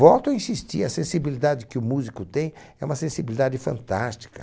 Volto a insistir, a sensibilidade que o músico tem é uma sensibilidade fantástica.